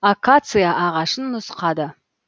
акация ағашын нұсқады